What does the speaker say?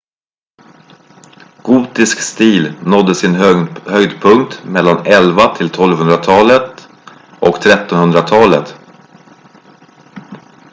gotisk stil nådde sin höjdpunkt mellan 1100-1200-talet och 1300-talet